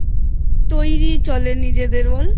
তৈরি চলে নিজেদের মধ্যে বল